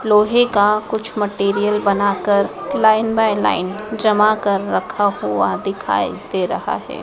लोहे का कुछ मटेरियल बनाकर लाइन बाय लाइन जमा कर रखा हुआ दिखाई दे रहा हैं।